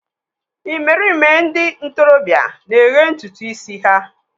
Ịmerime ndị ntorobịa na-eghe ntutu ísí ha.